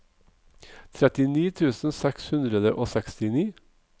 trettini tusen seks hundre og sekstini